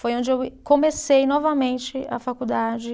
Foi onde eu e, comecei novamente a faculdade.